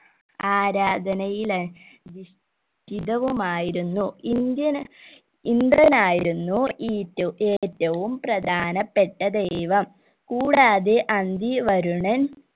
ആരാധനയില ദിഷ്ടിതവുമായിരുന്നു ഇന്ദിയൻ ഇന്ദ്രനായിരുന്നു ഈറ്റു ഏറ്റവും പ്രധാനപ്പെട്ട ദൈവം കൂടാതെ അന്തി വരുണൻ